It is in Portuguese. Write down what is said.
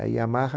A Yamaha...